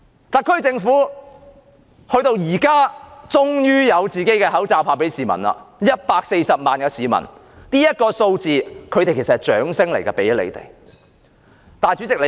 特區政府現在終於有自己的口罩派發給市民 ，140 萬位市民登記，這個數字其實是給特區政府的掌聲。